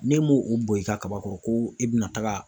N'e m'o o bɔn i ka kaba kɔrɔ ko e be na taga